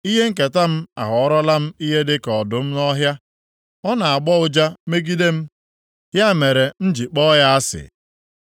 Ihe nketa m aghọrọọla m, ihe dịka ọdụm nọ nʼọhịa, Ọ na-agbọ ụja megide m; ya mere, m ji kpọọ ya asị.